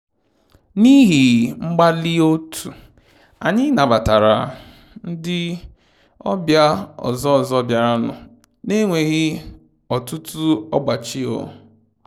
N'ihi mgbalị otu, anyị nabatara ndi ọbịa ọzọ ọzọ biaranụ na enweghị ọtụtụ ọgbachi um